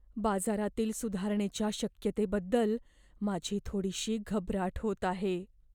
बाजारातील सुधारणेच्या शक्यतेबद्दल माझी थोडीशी घबराट होत आहे.